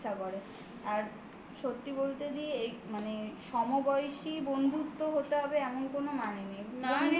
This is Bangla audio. আর সত্যি বলতে দি এই মানে সমবয়সী বন্ধুত্ব হতে হবে এমন কোনো মানে নেই